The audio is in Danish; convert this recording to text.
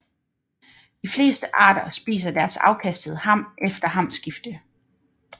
De fleste arter spiser deres afkastede ham efter hamskifte